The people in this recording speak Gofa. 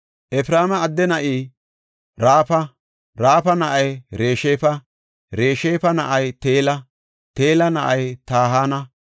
Efreema adde na7ay Raafa; Raafa na7ay Resheefa; Resheefa na7ay Teela; Teela na7ay Tahana;